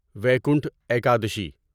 Vaikunth Ekadashi